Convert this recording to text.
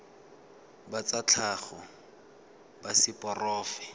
ba tsa tlhago ba seporofe